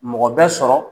Mɔgɔ bɛ sɔrɔ